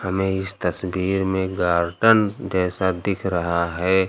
हमें इस तस्वीर में गार्डन जैसा दिख रहा है।